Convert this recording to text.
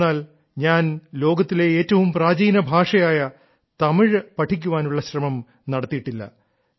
എന്തെന്നാൽ ഞാൻ ലോകത്തിലെ ഏറ്റവും പ്രാചീന ഭാഷയായ തമിഴ് പഠിക്കാനുള്ള ശ്രമം നടത്തിയിട്ടില്ല